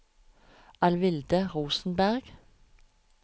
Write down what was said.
Alvilde Rosenberg